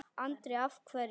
Andri: Af hverju?